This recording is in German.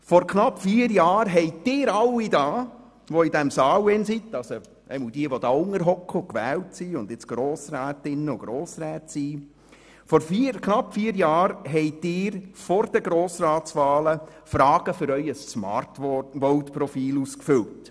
Vor knapp vier Jahren haben Sie alle, die als gewählte Grossrätinnen und Grossräte in diesem Saal sitzen, vor den Wahlen Fragen für Ihr Smartvote-Profil beantwortet.